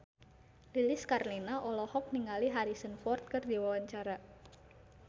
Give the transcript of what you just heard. Lilis Karlina olohok ningali Harrison Ford keur diwawancara